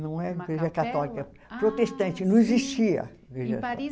Não era igreja católica. Protestante, não existia igreja. Em Paris.